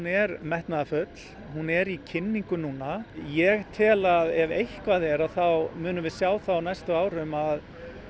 er metnaðarfull hún er í kynningu núna ég tel að ef eitthvað er þá munum við sjá það á næstu árum að